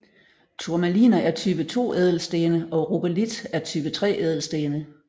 Turmaliner er type 2 ædelstene og rubelit er type 3 ædelstene